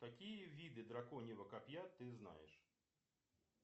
какие виды драконьего копья ты знаешь